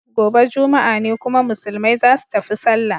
Gobe juma'a ne kuma musulmai zasu tafi sallah.